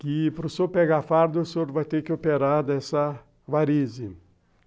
que para o senhor pegar fardo, o senhor vai ter que operar dessa varize.